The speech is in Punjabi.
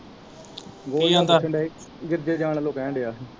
ਜਾਣ ਵੱਲੋਂ ਕਹਿਣ ਦਿਆ ਸੀ।